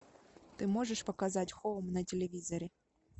ты можешь показать хоум на телевизоре